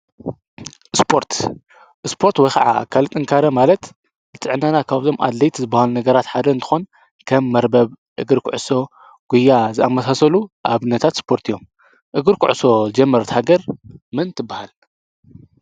ስፖርት ስፖርት ወይ ከዓ አካል ጥንካሬ ማለት ንጥዕናና ካብቶም አድለይቲ ዝበሃሉ ነገራት ሓደ እንትኮን ከም መርበብ፣ እግሪ ኩዕሶ ፣ጉያ ዝአመሰሉ አብነታት ስፖርት እዮም እግሪ ኩዕሶ ዝጀመረት ሃገር መን ትበሃል?